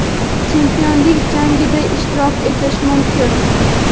chempionlik jangida ishtirok etishi mumkin.